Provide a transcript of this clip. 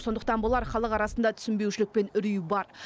сондықтан болар халық арасында түсінбеушілік пен үрей бар